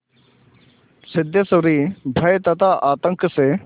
सिद्धेश्वरी भय तथा आतंक से